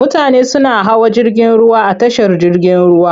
Mutane suna hawa jirgin ruwa a tashar jirgin ruwa.